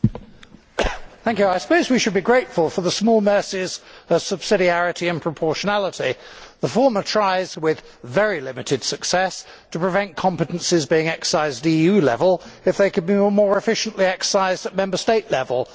Mr President, I suppose we should be grateful for the small mercies of subsidiarity and proportionality. The former tries, with very limited success, to prevent competences being exercised at EU level if they could be more efficiently exercised at Member State level.